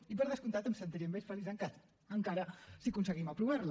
i per descomptat em sentiré més feliç encara si aconseguim aprovar la